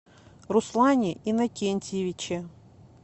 руслане иннокентьевиче